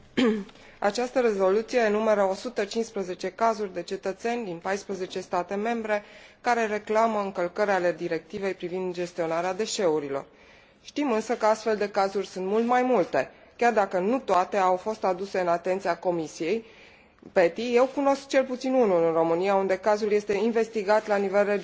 Această rezoluție enumeră 115 cazuri de cetățeni din 14 state membre, care reclamă încălcări ale Directivei privind gestionarea deșeurilor. Știm însă că astfel de cazuri sunt mult mai multe, chiar dacă nu toate au fost aduse în atenția Comisiei PETI, eu cunosc cel puțin unul în România, unde cazul este investigat la nivel regional.